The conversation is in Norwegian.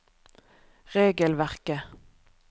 regelverket